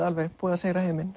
alveg búið að sigra heiminn